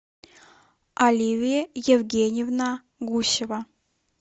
оливия евгеньевна гусева